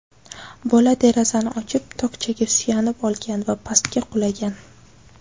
Bola derazani ochib, tokchaga suyanib olgan va pastga qulagan.